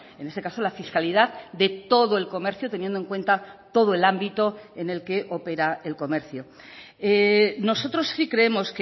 en este caso la fiscalidad de todo el comercio teniendo en cuenta todo el ámbito en el que opera el comercio nosotros sí creemos